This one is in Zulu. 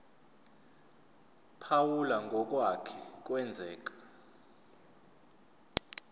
phawula ngokwake kwenzeka